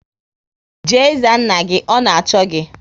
Jee za nna gị! Ọ na-achọ gi